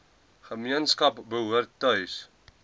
gemeenskap behoort tuis